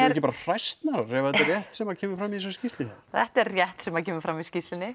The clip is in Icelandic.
ekki bara hræsnarar ef þetta er rétt sem kemur fram í þessari skýrslu þetta er rétt sem kemur fram í skýrslunni